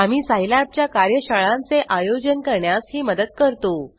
आम्ही सिलाब च्या कार्यशाळांचे आयोजन करण्यास ही मदत करतो